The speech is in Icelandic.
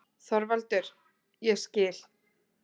ÞORVALDUR: Ég skil.